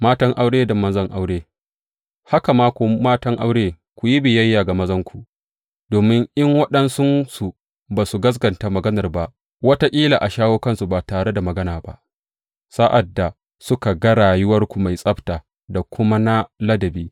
Matan aure da mazan Aure Haka ma, ku matan aure, ku yi biyayya ga mazanku, domin in waɗansunsu ba su gaskata maganar ba, wataƙila a shawo kansu ba tare da magana ba sa’ad da suka ga rayuwarku mai tsabta da kuma na ladabi.